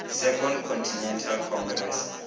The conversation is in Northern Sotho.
second continental congress